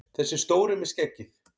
Þessi stóri með skeggið!